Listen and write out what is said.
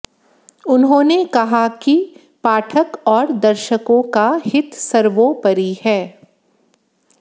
उन्होंने कहा कि पाठक और दर्शकों का हित सर्वोपरि है